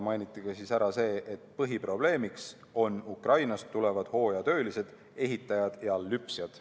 Mainiti ära ka see, et põhiprobleemiks on Ukrainast tulevad hooajatöölised, ehitajad ja lüpsjad.